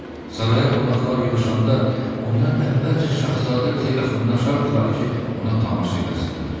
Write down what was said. Saraya qonaqlar yığışanda, onlar əvvəlcə Şahzadə qıza yaxınlaşardılar ki, ona tamaşa eləsinlər.